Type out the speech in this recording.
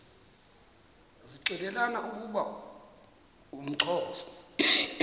zixelelana ukuba uxhosa